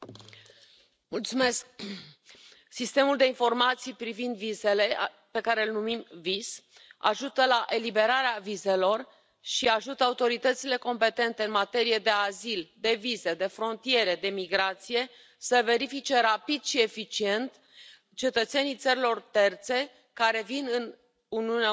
Domnule președinte, sistemul de informații privind vizele, pe care l numim VIS, ajută la eliberarea vizelor și ajută autoritățile competente în materie de azil, de vize, de frontiere, de migrație, să verifice rapid și eficient cetățenii țărilor terțe care vin în Uniunea Europeană.